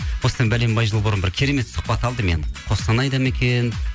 осыдан бәленбай жыл бұрын бір керемет сұхбат алды мен қостанайда ма екен